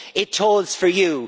It tolls for you.